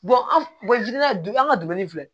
an an ka dumuni filɛ